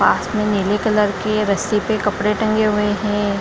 पास मे नीले कलर के रस्सी पे कपड़े टंगे हुए है।